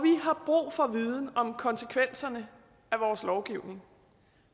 har brug for viden om konsekvenserne af vores lovgivning